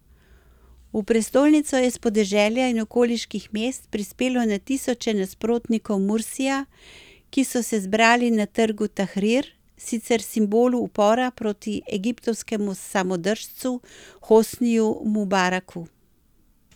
V prestolnico je s podeželja in okoliških mest prispelo na tisoče nasprotnikov Mursija, ki so se zbrali na trgu Tahrir, sicer simbolu upora proti egiptovskemu samodržcu Hosniju Mubaraku.